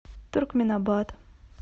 туркменабат